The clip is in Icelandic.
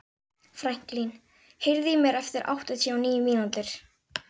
Franklín, heyrðu í mér eftir áttatíu og níu mínútur.